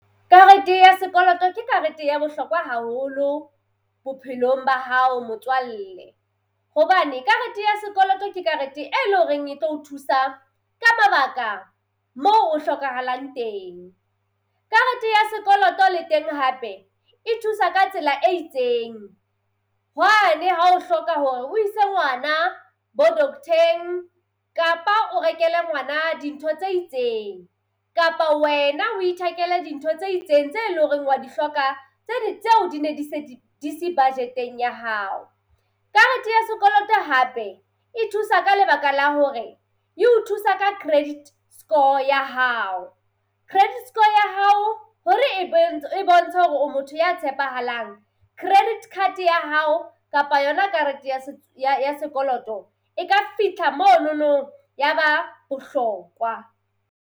Karete ya sekoloto ke karete ya bohlokwa haholo bophelong ba hao motswalle hobane karete ya sekoloto ke karete e leng horeng e tlo o thusa ka mabaka mo ho hlokahalang teng. Karete ya sekoloto le teng hape e thusa ka tsela e itseng hwane ha o hloka hore o ise ngwana bo doctor-eng kapa o rekele ngwana dintho tse itseng, kapa wena o ithekele dintho tse itseng tse leng hore wa di hloka tseo di ne di se di se budget-eng ya hao. Karete ya sekoloto hape e thusa ka lebaka la hore e o thusa ka credit score ya hao. Credit score ya hao, hore e e bontshe hore o motho ya tshepahalang, credit card ya hao kapa yona karete ya ya ya sekoloto e ka fihla monono ya ba bohlokwa.